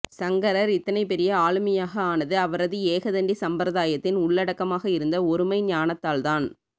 சங்கரர் இத்தனைபெரிய ஆளுமையாக ஆனது அவரது ஏகதண்டி சம்பிரதாயத்தின் உள்ளடக்கமாக இருந்த ஒருமைஞானத்தால்தான்